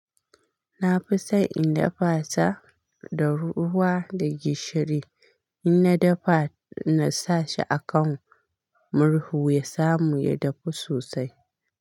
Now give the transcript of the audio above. Na fi son in dafa ta da ruwa da gishiri. In na dafa, na sa shi a kan murhu ya samu ya dafu sosai.